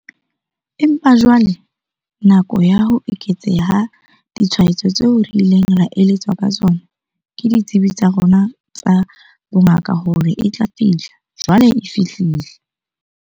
Empa jwale nako ya ho eketseha ha ditshwaetso tseo re ileng ra eletswa ka tsona ke ditsebi tsa rona tsa bongaka hore e tla fihla, jwale e fihlile.